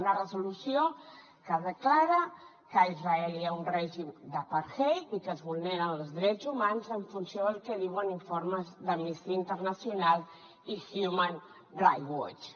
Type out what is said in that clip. una resolució que declara que a israel hi ha un règim d’apartheid i que es vulneren els drets humans en funció del que diuen informes d’amnistia internacional i human rights watch